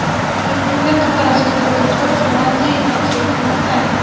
Reytingda qatorasiga to‘rtinchi bor Finlyandiya yetakchilik qilmoqda.